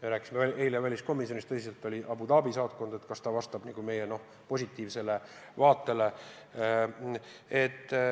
Me rääkisime eile väliskomisjonis tõsiselt Abu Dhabi saatkonnast, kas see vastab meie positiivsele vaatele.